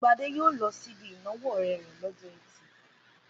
Gbadé yóò lọ síbi ìnáwó ọ̀rẹ́ rẹ̀ lọ́jọ́ ẹtì.